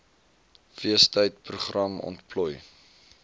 feestyd program ontplooi